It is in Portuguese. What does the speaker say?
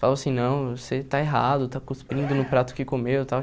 Falou assim, não, você está errado, está cuspindo no prato que comeu e tal.